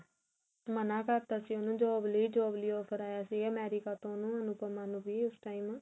ਮਨਾ ਕਰਤਾ ਸੀ ਉਹਨੇ job ਲਈ job ਲਈ offer ਆਇਆ ਸੀ America ਤੋਂ ਉਹਨੂੰ ਅਨੁਪਮਾ ਨੂੰ ਉਸ time